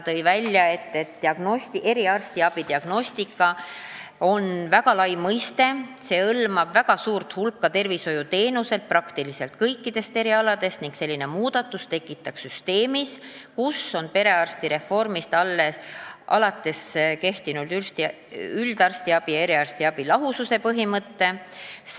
Toodi välja, et "eriarstiabi diagnostika" on väga lai mõiste, mis hõlmab väga suurt hulka tervishoiuteenuseid praktiliselt kõikidelt erialadelt, ning selline muudatus tekitaks segaduse süsteemis, kus on perearstireformist alates kehtinud üldarstiabi ja eriarstiabi lahususe põhimõte.